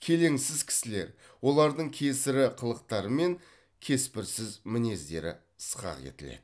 келеңсіз кісілер олардың кесірі қылықтары мен кеспірсіз мінездері сықақ етіледі